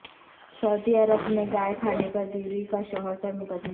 سعودی عرب میں گائے کہنے پر بیوی کا شوہر پر مقدمہ